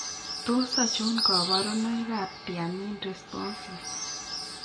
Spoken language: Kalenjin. Tos achon kabarunaik ab Thiamine responsive?